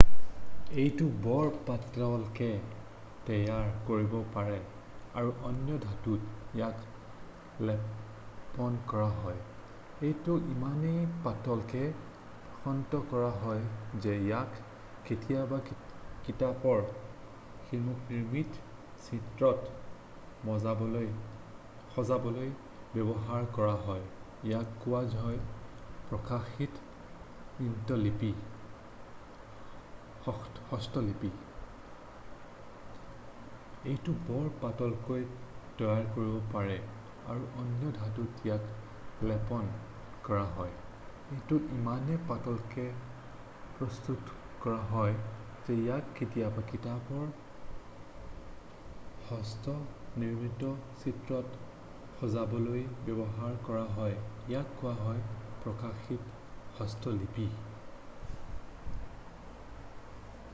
"এইটো বৰ পাতলকৈ তৈয়াৰ কৰিব পাৰে আৰু অন্য ধাতুত ইয়াক লেপন কৰা হয়। এইটো ইমানেই পাতলকৈ প্ৰস্তুত কৰা হয় যে ইয়াক কেতিয়াবা কিতাপৰ হস্ত-নিৰ্মিত চিত্ৰত সজাবলৈ ব্যৱহাৰ কৰা হয় ইয়াক কোৱা হয় "প্ৰকাশিত হস্তলিপি""।""